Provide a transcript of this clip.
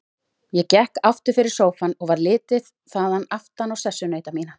Ég gekk aftur fyrir sófann og varð litið þaðan aftan á sessunauta mína.